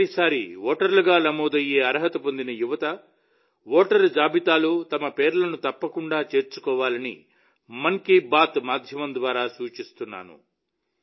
మొదటి సారి ఓటర్లుగా నమోదయ్యే అర్హత పొందిన యువత ఓటరు జాబితాలో తమ పేర్లను తప్పకుండా చేర్చుకోవాలని మన్ కీ బాత్ మాధ్యమం ద్వారా సూచిస్తున్నాను